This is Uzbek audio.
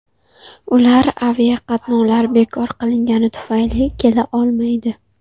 Ular aviaqatnovlar bekor qilingani tufayli kela olmaydi.